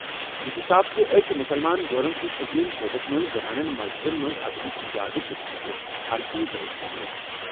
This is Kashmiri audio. یہِ چھُ صاف زِ أکۍ مُسلمان جورَن چھِ سپریم کورٹَس منٛز زنانَن مسجدن منٛز اژنُک اِجازت دِنہٕ خٲطرٕ عرضی دائر کٔرمٕژ۔